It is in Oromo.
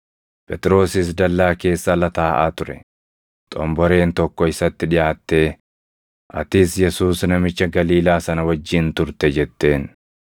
Phexrosis dallaa keessa ala taaʼaa ture; xomboreen tokko isatti dhiʼaattee, “Atis Yesuus namicha Galiilaa sana wajjin turte!” jetteen.